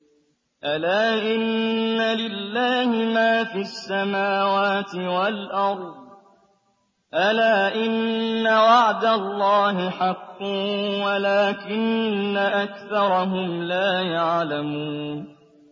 أَلَا إِنَّ لِلَّهِ مَا فِي السَّمَاوَاتِ وَالْأَرْضِ ۗ أَلَا إِنَّ وَعْدَ اللَّهِ حَقٌّ وَلَٰكِنَّ أَكْثَرَهُمْ لَا يَعْلَمُونَ